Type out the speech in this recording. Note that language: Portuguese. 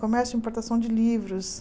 Comércio importação de livros.